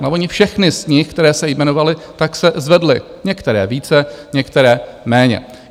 No, ony všechny z nich, které jste jmenovali, tak se zvedly, některé více, některé méně.